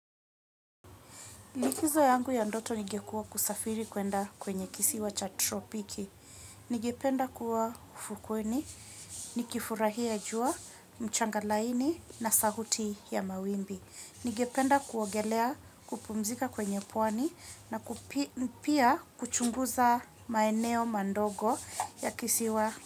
Likizo yangu ya ndoto ingekuwa kusafiri kwenda kwenye kisiwa cha tropiki. Ningependa kuwa ufukweni, nikifurahia jua, mchanga laini na sahuti ya mawimbi. Ningependa kuogelea kupumzika kwenye pwani na pia kuchunguza maeneo madogo ya kisiwa.